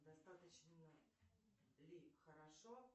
достаточно ли хорошо